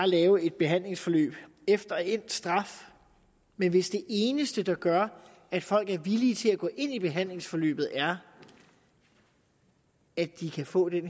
lave et behandlingsforløb efter endt straf men hvis det eneste der gør at folk er villige til at gå ind i behandlingsforløbet er at de kan få en